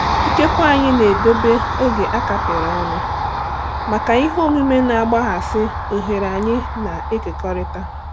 Ikekwe anyị ga-edobe oge a kapịrị ọnụ maka ihe omume na-akpaghasị oghere anyị na-ekekọrịta.